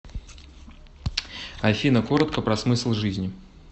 афина коротко про смысл жизни